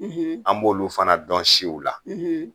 an b'olu fana dɔn siw la